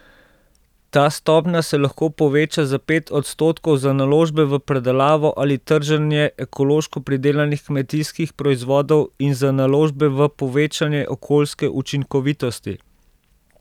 Ta stopnja se lahko poveča za pet odstotkov za naložbe v predelavo ali trženje ekološko pridelanih kmetijskih proizvodov in za naložbe v povečanje okoljske učinkovitosti.